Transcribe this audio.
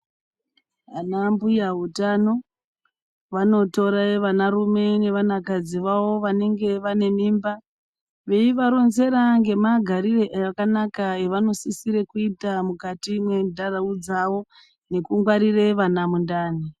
Anambuyautano vanotore vanarume nevanakadzi vavo vanenge vane mimba veivaronzera ngemagarire akanaka avanosisire kuita mukati menharaunda dzavo nekungwarire vana mundani.